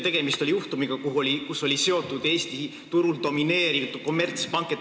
Tegemist on juhtumiga, kuhu oli seotud Eesti turul domineeriv kommertspank.